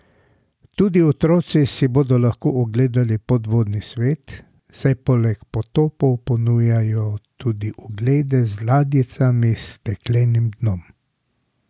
Tudi otroci si bodo lahko ogledali podvodni svet, saj poleg potopov ponujajo tudi oglede z ladjicami s steklenim dnom.